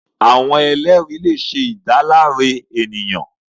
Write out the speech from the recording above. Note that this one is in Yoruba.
Awọn ẹlẹri le ṣe idalare eniyan